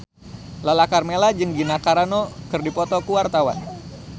Lala Karmela jeung Gina Carano keur dipoto ku wartawan